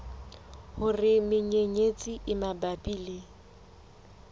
hore menyenyetsi e mabapi le